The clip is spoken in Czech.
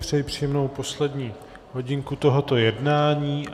Přeji příjemnou poslední hodinku tohoto jednání.